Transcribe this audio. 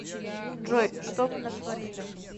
джой что вы натворили